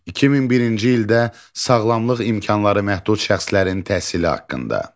2001-ci ildə sağlamlıq imkanları məhdud şəxslərin təhsili haqqında.